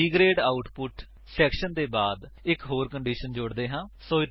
B grade output section ਦੇ ਬਾਅਦ ਇੱਕ ਹੋਰ ਕੰਡੀਸ਼ਨ ਜੋੜ ਦੇ ਹਾਂ